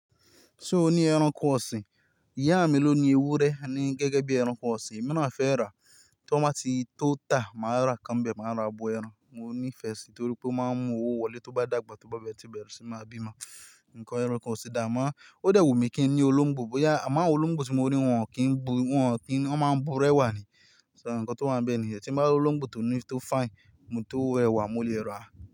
So o ní ẹranko ọ̀sìn, ìyá mi ló ni ewúrẹ́ ni gẹ́gẹ́ bí ẹranko ọ̀sìn, èmi naa fẹ́ rà á, ti won bá ti tó ta máa rà ikán ń bẹ máa rà ábo ẹran. Mo nífẹ̀ẹ́ sí i nítorí pé ó máa ń mú owó wọlé tó bá dàgbà, tó bá bẹ́rẹ́, to tí bẹ́rẹ́ sì máa bímọ, nǹkan ẹranko ọ̀sìn dà, amàá ó dẹ̀ wù mí kí n ní olóńgbò, bóyá àma olóńgbò tí mo rí wọ́n kì í bu, wọ́n kì í, wọ́n máa ń bu rẹ̀wà ni, so nǹkan tó wáa ń bẹ́ẹ̀ nìyẹn. Tí n bá rí olóńgbò tó ní, tó fine, ntó rẹ̀wà, mo lè rà á.